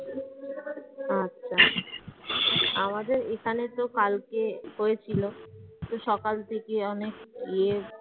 আমাদের এইখানে তো কালকে হয়েছিল তো সকাল থেকে অনেক ইয়ে